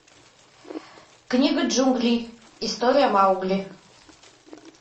книга джунглей история маугли